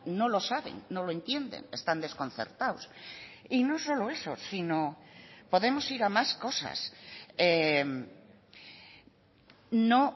no lo saben no lo entienden están desconcertados y no solo eso sino podemos ir a más cosas no